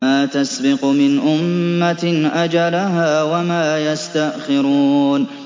مَّا تَسْبِقُ مِنْ أُمَّةٍ أَجَلَهَا وَمَا يَسْتَأْخِرُونَ